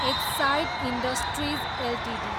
Exide industries Ltd